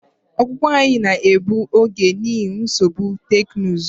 Ọpụpụ anyị na-egbu oge n'ihi nsogbu teknụzụ.